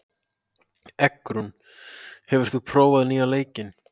Eggrún, hefur þú prófað nýja leikinn?